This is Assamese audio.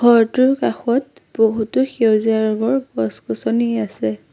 ঘৰটোৰ কাষত বহুতো সেউজীয়া ৰঙৰ গছ-গছনি আছে।